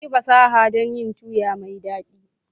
Ɗauki fasaha dun yin tuyi mai dadi.